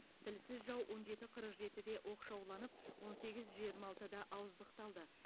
тілсіз жау он жеті қырық жетіде оқшауланып он сегіз жиырма алтыда ауыздықталды